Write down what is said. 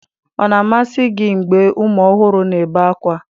Ọ na-amasị gị mgbe ụmụ ọhụrụ na-ebe ákwá?